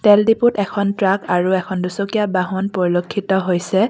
তেল ডিপুত এখন ট্ৰাক আৰু এখন দুচকীয়া বাহন পৰিলেক্ষিত হৈছে।